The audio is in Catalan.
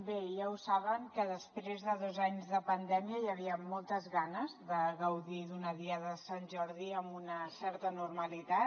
bé ja ho saben que després de dos anys de pandèmia hi havia moltes ganes de gaudir d’una diada de sant jordi amb una certa normalitat